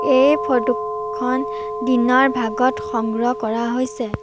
এই ফটোখন দিনৰ ভাগত সংগ্ৰহ কৰা হৈছে।